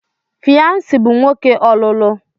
Fyansi bụ nwoke ọlụlụ.